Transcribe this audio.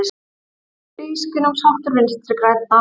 Tvískinnungsháttur Vinstri grænna